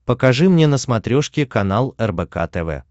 покажи мне на смотрешке канал рбк тв